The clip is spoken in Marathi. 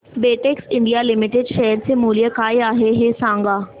बेटेक्स इंडिया लिमिटेड शेअर चे मूल्य काय आहे हे सांगा